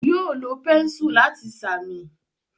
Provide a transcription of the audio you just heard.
Yóò lo pẹ́ńsù láti sàmì.